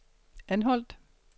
Anholt